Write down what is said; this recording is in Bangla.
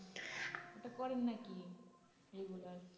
ওই তা পড়েন নাকি regular